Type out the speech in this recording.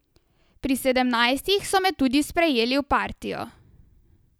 Pri sedemnajstih so me tudi sprejeli v partijo.